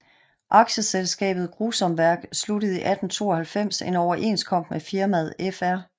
Aktieselskabet Grusonwerk sluttede 1892 en overenskomst med firmaet Fr